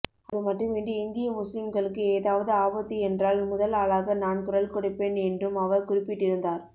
அது மட்டுமின்றி இந்திய முஸ்லிம்களுக்கு ஏதாவது ஆபத்து என்றால் முதல் ஆளாக நான் குரல் கொடுப்பேன் என்றும் அவர் குறிப்பிட்டிருந்தார்